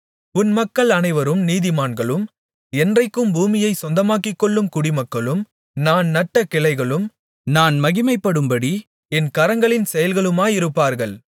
உன் மக்கள் அனைவரும் நீதிமான்களும் என்றைக்கும் பூமியைச் சொந்தமாக்கிக்கொள்ளும் குடிமக்களும் நான் நட்ட கிளைகளும் நான் மகிமைப்படும்படி என் கரங்களின் செயல்களுமாயிருப்பார்கள்